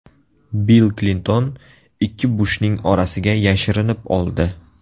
Bill Klinton ikki Bushning orasiga yashirinib oldi.